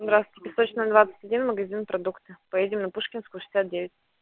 здравствуйте песочная двадцать один магазин продукты поедем на пушкинскую шестьдесят девять